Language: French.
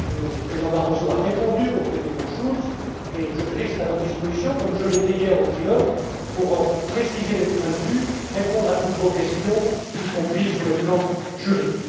Le président Barroso a répondu au président Schulz et je reste à votre disposition, comme je l'étais hier lors du trilogue pour préciser les points de vue, répondre à toutes vos questions, y compris sur le plan juridique.